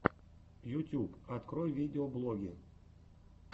ютюб открой видеоблоги